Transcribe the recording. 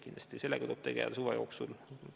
Kindlasti tuleb sellega suve jooksul tegeleda.